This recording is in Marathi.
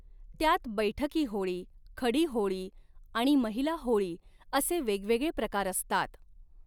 त्यात बैठकी होळी, खडी होळी आणि महिला होळी असे वेगवेगळे प्रकार असतात.